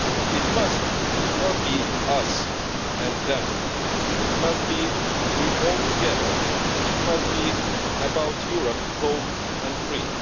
It must not be us and them, it must be all of us together, it must be about a Europe whole and free.